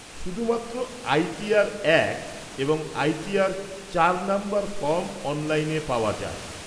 শুধুমাত্র I T R এক এবং আই টি আর চার নম্বর ফর্ম অনলাইনে পাওয়া যায়।